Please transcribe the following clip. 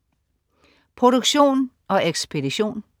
Produktion og ekspedition: